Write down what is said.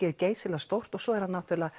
er geysistórt og svo var hann